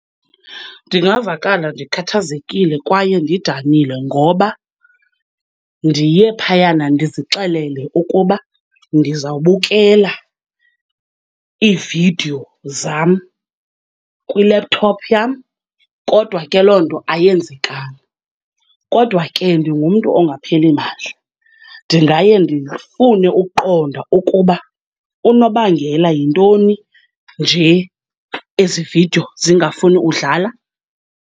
Ndingavakala ndikhathazekile kwaye ndidanile ngoba ndiye phayana ndizixelele ukuba ndizawubukela iividiyo zam kwi-laptop yam kodwa ke loo nto ayenzekanga. Kodwa ke ndingumntu ongapheli mandla, ndingaye ndifune ukuqonda ukuba unobangela yintoni nje ezi vidiyo zingafuni udlala.